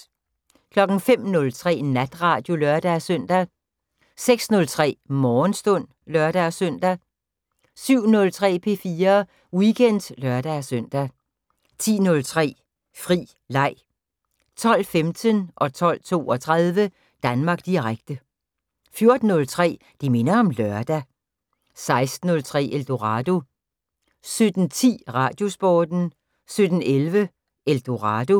05:03: Natradio (lør-søn) 06:03: Morgenstund (lør-søn) 07:03: P4 Weekend (lør-søn) 10:03: Fri Leg 12:15: Danmark Direkte 12:32: Danmark Direkte 14:03: Det minder om lørdag 16:03: Eldorado 17:10: Radiosporten 17:11: Eldorado